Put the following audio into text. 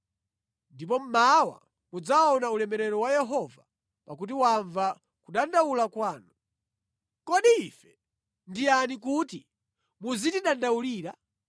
Ndipo mmawa mudzaona ulemerero wa Yehova pakuti wamva kudandaula kwanu. Kodi ife ndi yani kuti muzitidandaulira?”